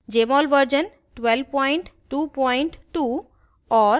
jmol version 1222 और